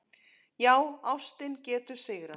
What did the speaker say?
Já, ástin getur sigrað!